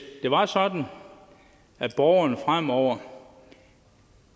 det var sådan at borgerne fremover